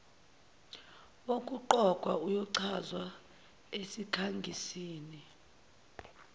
wokuqokwa uyochazwa esikhangisini